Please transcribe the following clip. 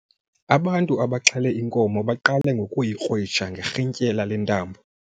Ubantu abaxhele inkomo baqale ngokuyikrwitsha ngerhintyela lentambo.